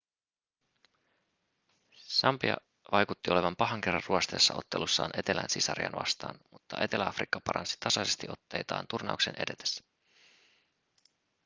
sambia vaikutti olevan pahan kerran ruosteessa ottelussaan etelän sisariaan vastaan mutta etelä-afrikka paransi tasaisesti otteitaan turnauksen edetessä